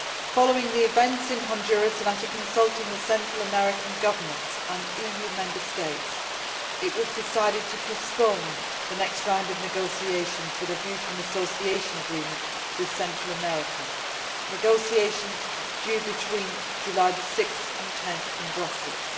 Following the events in Honduras and after consulting the Central American governments and EU Member States, it was decided to postpone the next round of negotiations with a view to an association agreement with Central America, negotiations that were due between 6 and 10 July in Brussels.